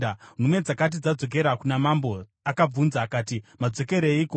Nhume dzakati dzadzokera kuna mambo, akavabvunza akati, “Madzokereiko?”